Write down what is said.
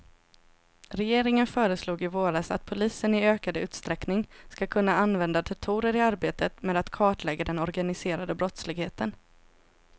Regeringen föreslog i våras att polisen i ökad utsträckning ska kunna använda datorer i arbetet med att kartlägga den organiserade brottsligheten.